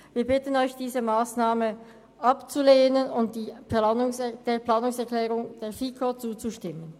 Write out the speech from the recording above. Wir bitten Sie, diese Massnahme abzulehnen und der Planungserklärung der FiKo-Mehrheit zuzustimmen.